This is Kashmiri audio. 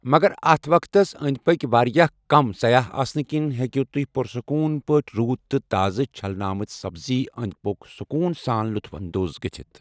مگر اتھ وقتس أنٛدۍ پٔکۍ واریاہ کم سیاح آسنہٕ كِنۍ ہیٚکِو تُہہِ پُرسکون پٲٹھۍ روٗد تہٕ تازٕ چھلنہٕ آمٕتۍ سبز ٲندِ پكِیوٗك سکون سان لطف اندوز گٔژھتھ ۔